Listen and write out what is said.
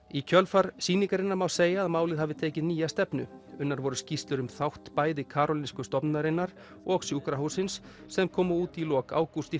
í kjölfar sýningarinnar má segja að málið hafi tekið nýja stefnu unnar voru skýrslur um þátt bæði Karolinsku stofnunarinnar og sjúkrahússins sem komu út í lok ágúst